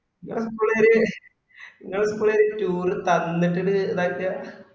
ഇങ്ങള school ക്കാര് ഇങ്ങളെ school ക്കാര് tour തന്നിട്ടിത് ഇത് ഇതാക്ക